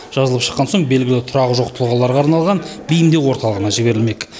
жазылып шыққан соң белгілі тұрағы жоқ тұлғаларға арналған бейімдеу орталығына жіберілмек